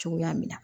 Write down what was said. Cogoya min na